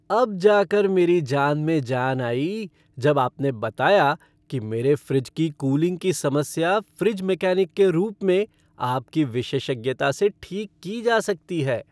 अब जा कर मेरी जान में जान आई जब आपने बताया कि मेरे फ़्रिज की कूलिंग की समस्या फ्रिज मैकेनिक के रूप में आपकी विशेषज्ञता से ठीक की जा सकती है।